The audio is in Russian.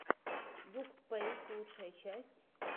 букспэйс лучшая часть